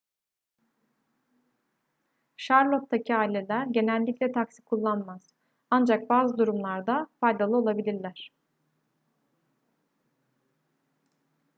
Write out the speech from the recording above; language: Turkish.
charlotte'taki aileler genellikle taksi kullanmaz ancak bazı durumlarda faydalı olabilirler